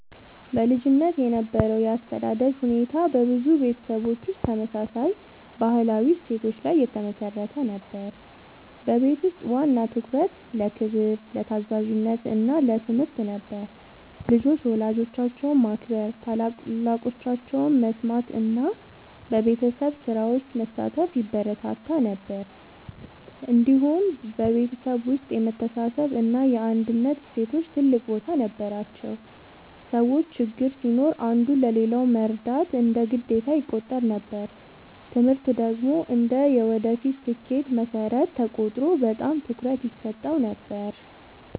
በልጅነት የነበረው የአስተዳደግ ሁኔታ በብዙ ቤተሰቦች ውስጥ ተመሳሳይ ባህላዊ እሴቶች ላይ የተመሠረተ ነበር። በቤት ውስጥ ዋና ትኩረት ለክብር፣ ለታዛዥነት እና ለትምህርት ነበር። ልጆች ወላጆቻቸውን ማክበር፣ ታላላቆቻቸውን መስማት እና በቤተሰብ ስራዎች መሳተፍ ይበረታታ ነበር። እንዲሁም በቤተሰብ ውስጥ የመተሳሰብ እና የአንድነት እሴቶች ትልቅ ቦታ ነበራቸው። ሰዎች ችግር ሲኖር አንዱ ለሌላው መርዳት እንደ ግዴታ ይቆጠር ነበር። ትምህርት ደግሞ እንደ የወደፊት ስኬት መሠረት ተቆጥሮ በጣም ትኩረት ይሰጠው ነበር።